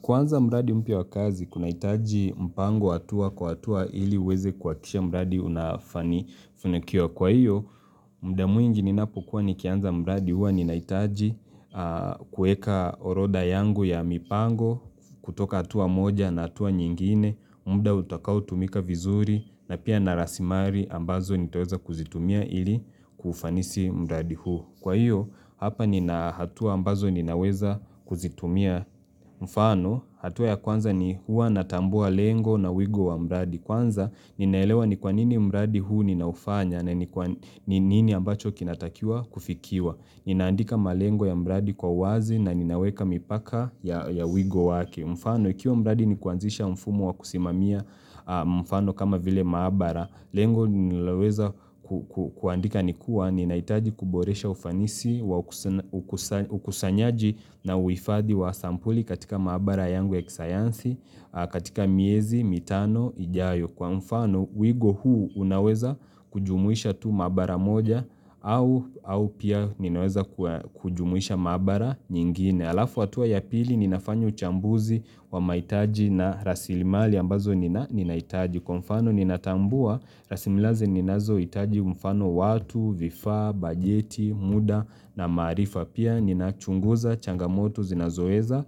Kuanza mradi mpya wa kazi kunahitaji mpango atua kwa atua ili uweze kuhakikisha mradi unafanikiwa Kwa hio muda mwingi ninapokuwa nikianza mradi huwa ninahitaji kuweka orodha yangu ya mipango kutoka hatua moja na hatua nyingine muda utakaotumika vizuri na pia na rasilimali ambazo nitaweza kuzitumia ili kufanisi mradi huu Kwa hio hapa nina hatua ambazo ninaweza kuzitumia mfano hatua ya kwanza ni huwa natambua lengo na uigo wa mradi Kwanza ninaelewa ni kwanini mradi huu ninaufanya na ni nini ambacho kinatakiwa kufikiwa Ninaandika malengo ya mradi kwa uwazi na ninaweka mipaka ya uigo wake mfano, ikiwa mradi nikuanzisha mfumo wa kusimamia mfano kama vile maabara, Lengo ninaloweza kuandika ni kuwa ninahitaji kuboresha ufanisi, ukusanyaji na uhifadhi wa sampuli katika maabara yangu ya kisayansi, katika miezi, mitano, ijayo kwa mfano. Wigo huu unaweza kujumuisha tu maabara moja au pia ninaweza kujumuisha maabara nyingine. Halafu hatua ya pili ninafanya uchambuzi wa mahitaji na rasilimali ambazo ninahitaji. Kwa mfano ninatambua, rasimilaze ninazohitaji mfano watu, vifaa, bajeti, muda na maarifa. Pia ninachunguza changamoto zinazoweza